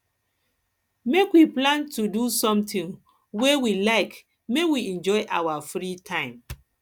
make we plan do sometin wey we like make we enjoy our free time